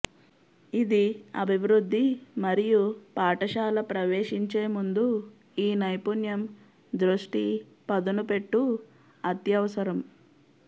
ఇది అభివృద్ధి మరియు పాఠశాల ప్రవేశించే ముందు ఈ నైపుణ్యం దృష్టి పదునుపెట్టు అత్యవసరం